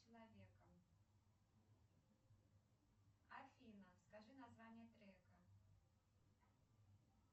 афина скажи название трека